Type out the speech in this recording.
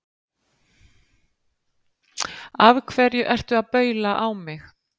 Af hverju að baula á mig?